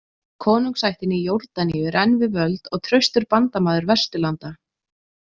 Konungsættin í Jórdaníu er enn við völd og traustur bandamaður Vesturlanda.